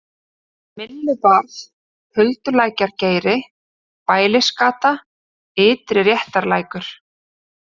Myllubarð, Huldulækjargeiri, Bælisgata, Ytri-Réttarlækur